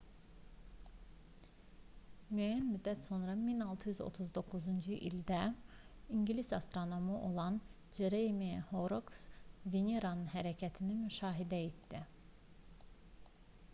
müəyyən müddət sonra 1639-cu ildə ingilis astronomu olan ceremiah horroks veneranın hərəkətini müşahidə etdi